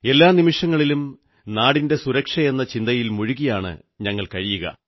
എല്ലാ നിമിഷങ്ങളിലും നാടിന്റെ സുരക്ഷയെന്ന ചിന്തയിൽ മുഴുകിയാണു കഴിയുക